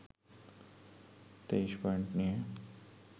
২৩ point নিয়ে